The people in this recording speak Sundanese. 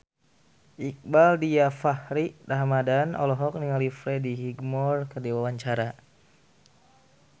Iqbaal Dhiafakhri Ramadhan olohok ningali Freddie Highmore keur diwawancara